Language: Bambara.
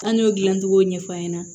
An y'o dilan cogo ɲɛf'a ɲɛna